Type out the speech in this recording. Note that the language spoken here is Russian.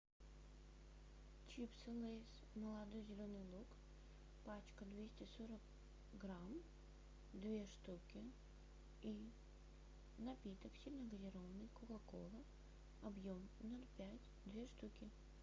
чипсы лейс молодой зеленый лук пачка двести сорок грамм две штуки и напиток сильногазированный кока кола объем ноль пять две штуки